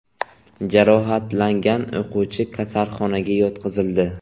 Jarohatlangan o‘quvchi kasalxonaga yotqizildi.